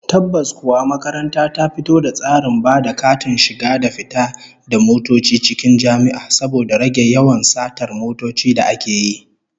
Tabbas kuwa, makaranta ta fito da tsarin ba da katin shiga da fita da motoci cikin jami'a, saboda rage yawan satar motoci da ake yi